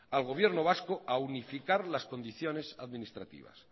al gobierno vasco a unificar las condiciones administrativas